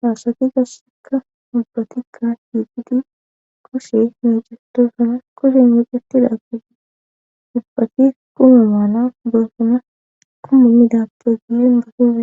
haasati gasseka ubbatikka hiiqidi kushe meecetosana koshen yoqetidaagidi ubbati kume maana beossama kumu midapte gilleen moohiee